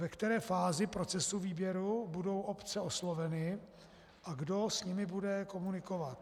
Ve které fázi procesu výběru budou obce osloveny a kdo s nimi bude komunikovat?